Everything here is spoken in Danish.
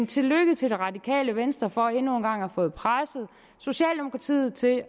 tillykke til det radikale venstre for endnu en gang at have fået presset socialdemokratiet til at